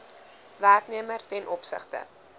werknemer ten opsigte